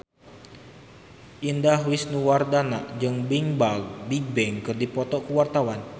Indah Wisnuwardana jeung Bigbang keur dipoto ku wartawan